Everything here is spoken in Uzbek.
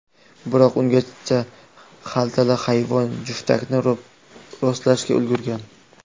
Biroq ungacha xaltali hayvon juftakni rostlashga ulgurgan.